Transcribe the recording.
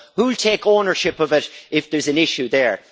So who will take ownership of it if there is an issue there?